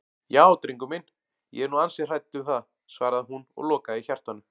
Já drengur minn, ég er nú ansi hrædd um það, svaraði hún og lokaði hjartanu.